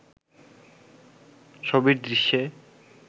ছবির দৃশ্যে